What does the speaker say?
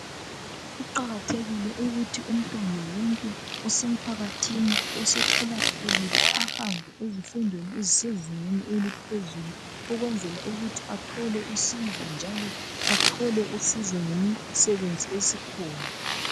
Kuqakathekile ukuthi umntwana wonke osemphakathini osekhulakhulile ahambe ezifundweni ezisezingeni eliphezulu ukwenzela ukuthi athole usizo njalo athole usizo ngemisebenzi esikhona.